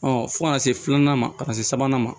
fo ka na se filanan ma ka se sabanan ma